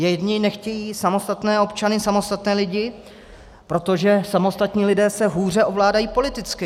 Jedni nechtějí samostatné občany, samostatné lidi, protože samostatní lidé se hůře ovládají politicky.